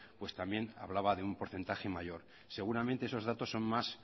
pues también hablaba de un porcentaje mayor seguramente esos datos son mas